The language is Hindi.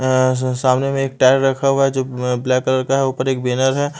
अं स सामने में एक टायर रखा हुआ है जो मैं ब्लैक कलर का है ऊपर एक बैनर है।